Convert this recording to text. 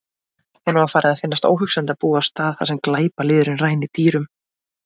Honum var farið að finnast óhugsandi að búa á stað þar sem glæpalýðurinn rænir dýrum.